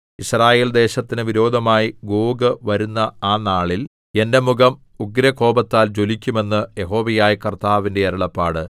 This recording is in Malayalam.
യിസ്രായേൽദേശത്തിനു വിരോധമായി ഗോഗ് വരുന്ന ആ നാളിൽ എന്റെ മുഖം ഉഗ്രകോപത്താൽ ജ്വലിക്കും എന്ന് യഹോവയായ കർത്താവിന്റെ അരുളപ്പാട്